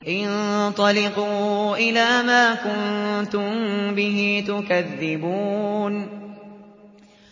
انطَلِقُوا إِلَىٰ مَا كُنتُم بِهِ تُكَذِّبُونَ